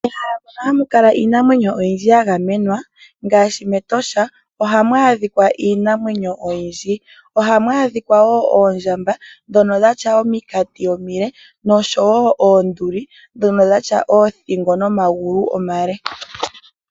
Ehala lyoka hamu kala iinima oyindji ya gamenwa ngaashi ne mEtosha ohamu a dhika nee iinamwenyo oyindji ngaashi: oondjamba dhoka dhina ominkati omile nosho woo oonduli dhono dhina oothingo nomagulu omale.